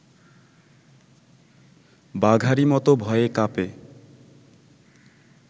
বাঘারই মত ভয়ে কাঁপে